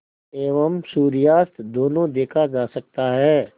एवं सूर्यास्त दोनों देखा जा सकता है